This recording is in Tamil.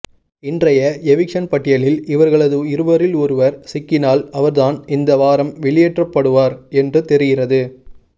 இன்றைய எவிக்சன் பட்டியலில் இவர்களது இருவரில் ஒருவர் சிக்கினால் அவர்தான் இந்த வாரம் வெளியேற்றப்படுவார் என்று தெரிகிறது